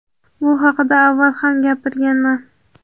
Bu haqida avval ham gapirganman .